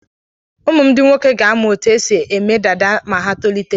Ụmụ m ndị nwoke ga-amụ otú e si eme dada ma ha tolite.